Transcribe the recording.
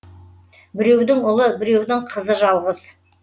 біреудің ұлы біреудің қызы жалғыз